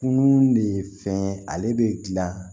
Kunun de ye fɛn ye ale bɛ dilan